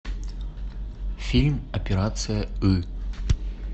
фильм операция ы